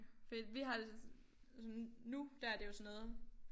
Fordi vi har det sådan nu der det jo sådan noget